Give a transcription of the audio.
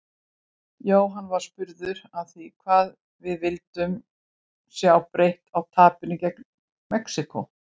Jóhann var spurður að því hvað við vildum sjá breytt frá tapinu gegn Mexíkó?